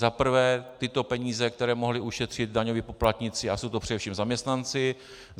Za prvé tyto peníze, které mohli ušetřit daňoví poplatníci, a jsou to především zaměstnanci.